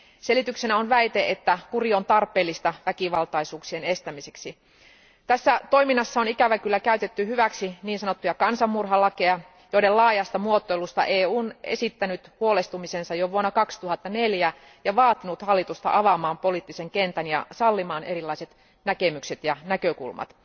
Selityksenä on väite, että kuri on tarpeellista väkivaltaisuuksien estämiseksi. Tässä toiminnassa on ikävä kyllä käytetty hyväksi niin sanottuja kansanmurhalakeja, joiden laajasta muotoilusta EU on esittänyt huolestumisensa jo vuonna 2004 ja vaatinut hallitusta avaamaan poliittisen kentän ja sallimaan erilaiset näkemykset ja näkökulmat.